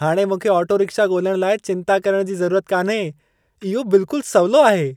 हाणे मूंखे auto rickshaw ॻोल्हण लाइ चिंता करण जी ज़रूरत कान्हे। इहो बिल्कुलु सवलो आहे।